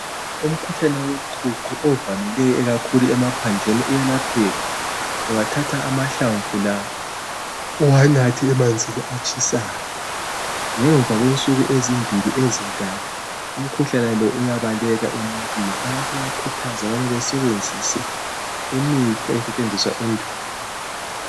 Umkhuhlane woqhuqho ovamileyo kakhulu emaphandleni uyelapheka. Ungathatha amahlamvu la uwanathe emanzini atshisayo ngemva kwensuku ezimbili ezintathu umkhuhlane lo uyabaleka emuntwini. Abantu bayakhuthazwa ukuthi basebenzise imithi eyayisetshenziswa endulo.